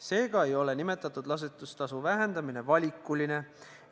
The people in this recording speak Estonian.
Seega ei ole nimetatud ladestustasu vähendamine valikuline.